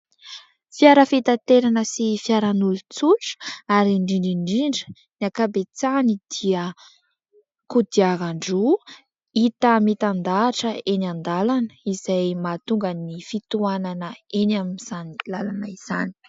Fiara fitanterana sy fiaran'olon-tsotra ary indrindra indrindra ny akabetsahany dia kodiaran-droa hita mitan-dahatra eny an-dalana, izay mahatonga ny fitohanana eny amin'izany lalana izany.